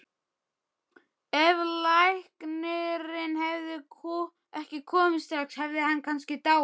Ef læknirinn hefði ekki komið strax hefði hann kannski dáið